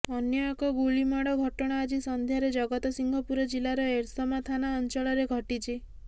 ଅନ୍ୟ ଏକ ଗୁଳିମାଡ଼ ଘଟଣା ଆଜି ସନ୍ଧ୍ୟାରେ ଜଗତସିଂହପୁର ଜିଲ୍ଲାର ଏରସମା ଥାନା ଅଞ୍ଚଳରେ ଘଟିଛି